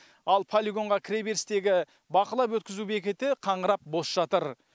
ал полигонға кіре берістегі бақылап өткізу бекеті қаңырап бос жатыр